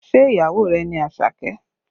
Ṣé ìyàwó rẹ ni Àṣàkẹ́?